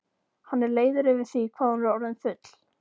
Hann er leiður yfir því hvað hún er orðin full.